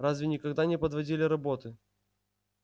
разве никогда не подводили роботы